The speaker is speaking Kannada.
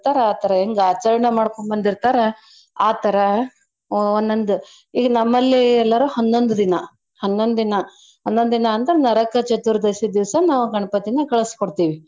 ಆ ತರ ಹೆಂಗ್ ಆಚರ್ಣೆ ಮಾಡ್ಕೋಂಬಂದಿರ್ತಾರ ಆ ತರಾ ಒಂದ್ ಒಂದು. ಈಗ ನಮ್ಮಲ್ಲಿ ಎಲ್ಲರೂ ಹನ್ನೊಂದ್ ದಿನಾ, ಹನ್ನೊಂದ್ ದಿನಾ ಹನ್ನೊಂದ್ ದಿನಾ ಅಂದ್ರ ನರಕ ಚತುರ್ದಶಿ ದೀವ್ಸ ನಾವ್ ಗಣಪತೀನ ಕಳ್ಸಕೊಡ್ತೀವಿ.